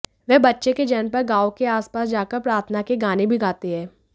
वे बच्चे के जन्म पर गांवों के आसपास जाकर प्रार्थना के गाने भी गाते है